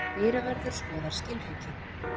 Dyravörður skoðar skilríki.